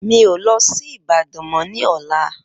Mi o lọ sí Ìbàdàn mo ní ọ̀la